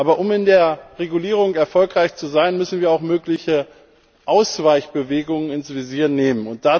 Aber um in der Regulierung erfolgreich zu sein, müssen wir auch mögliche Ausweichbewegungen ins Visier nehmen.